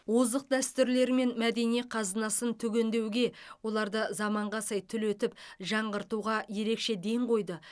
озық дәстүрлері мен мәдени қазынасын түгендеуге оларды заманға сай түлетіп жаңғыртуға ерекше ден қойды